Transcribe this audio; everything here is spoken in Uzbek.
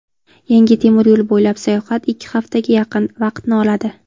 Yangi temiryo‘l bo‘ylab sayohat ikki haftaga yaqin vaqtni oladi.